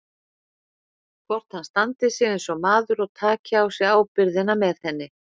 Hvort hann standi sig eins og maður og taki á sig ábyrgðina með henni.